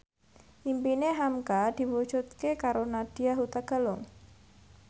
impine hamka diwujudke karo Nadya Hutagalung